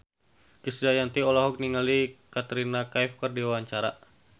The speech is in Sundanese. Krisdayanti olohok ningali Katrina Kaif keur diwawancara